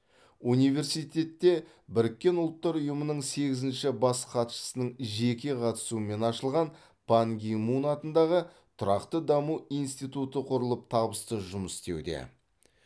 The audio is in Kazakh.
университетте біріккен ұлттар ұйымының сегізінші бас хатшысының жеке қатысуымен ашылған пан ги мун атындағы тұрақты даму институты құрылып табысты жұмыс істеуде